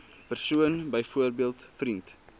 persoon byvoorbeeld vriend